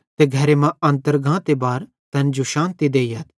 ते घरे मां अन्तर गांते बार तैन जो शान्ति देइयथ